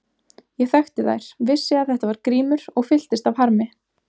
Ég þekkti þær, vissi að þetta var Grímur og fylltist af harmi.